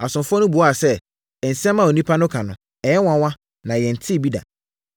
Asomfoɔ no buaa sɛ, “Nsɛm a onipa no ka no, ɛyɛ nwanwa na yɛntee bi da.”